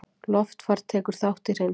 Loftfar tekur þátt í hreinsun